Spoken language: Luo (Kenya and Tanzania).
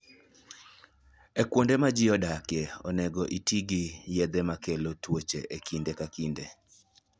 E kuonde ma ji odakie, onego oti gi yedhe makelo tuoche e kinde ka kinde.